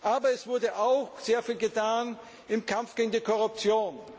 Aber es wurde auch sehr viel getan im Kampf gegen die Korruption.